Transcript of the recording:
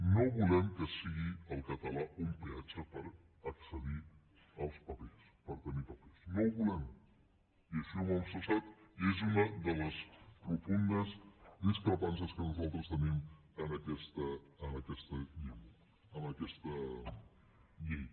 no volem que sigui el català un peatge per accedir als papers per tenir papers no ho volem i així ho hem manifestat i és una de les profundes discrepàncies que nosaltres tenim amb aquesta llei